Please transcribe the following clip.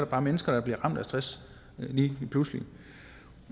bare mennesker der bliver ramt af stress lige pludselig